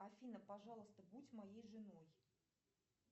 афина пожалуйста будь моей женой